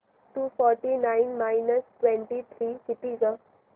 to forty nine minus twenty three किती गं